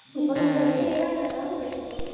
Hún brosti til mín á bak við afgreiðsluborðið.